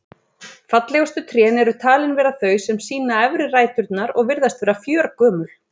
Fallegustu trén eru talin vera þau sem sýna efri ræturnar og virðast vera fjörgömul.